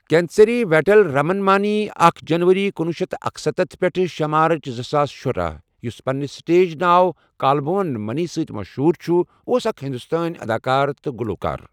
کنیسیری ویٖٹل رَمن مانی اکھ جنوری کُنوُہ شیٚتھ تہٕ اکَستتھ پیٹھ شے مارٕچ زٕ ساس شُراہ، یُس پنِنہِ سٹیج ناو کالبھون منی سۭتۍ مشہوٗر چھُ اوس اکھ ہندوستٲنی اداکار تہٕ گُلوکار۔